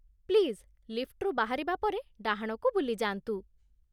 Please, ଲିଫ୍ଟରୁ ବାହାରିବା ପରେ ଡାହାଣକୁ ବୁଲିଯାଆନ୍ତୁ ।